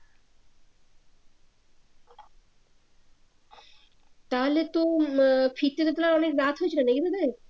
তাহলে তো আহ ফিরতে তাহলে তো অনেক রাত হয়েছিলো